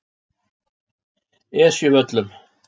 Esjuvöllum